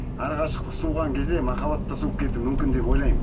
арақашықтық суыған кезде махаббат та суып кетуі мүмкін деп ойлаймын